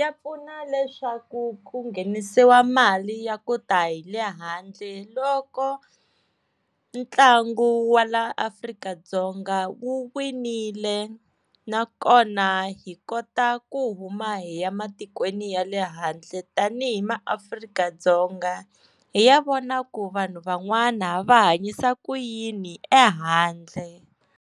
ya pfuna leswaku ku nghenisiwa mali ya ku ta hi le handle loko ntlangu wa laa Afrika-Dzonga u winile, nakona hi kota ku huma hi ya matikweni ya le handle tanihi maAfrika-Dzonga hi ya vona ku vanhu van'wana va hanyisa ku yini ehandle.